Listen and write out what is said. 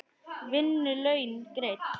Vinnu laun greidd.